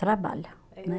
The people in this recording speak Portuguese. Trabalha, né?